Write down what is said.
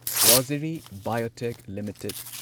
Rossari Biotech limited